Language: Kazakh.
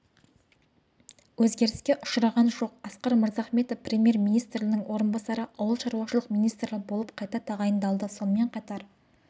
өзгеріске ұшыраған жоқ асқар мырзахметов премьер-министрінің орынбасары ауыл шаруашылық министрі болып қайта тағайындалды сонымен қатар